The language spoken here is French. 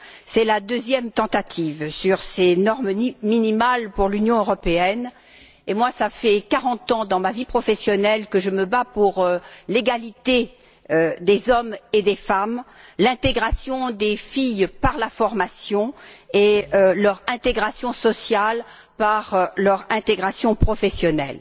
C'est la deuxième fois que l'on tente d'établir des normes minimales pour l'Union européenne et, moi, cela fait quarante ans, dans ma vie professionnelle, que je me bats pour l'égalité des hommes et des femmes, l'intégration des filles par la formation et leur intégration sociale par leur intégration professionnelle.